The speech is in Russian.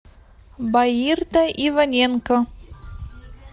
баирта иваненко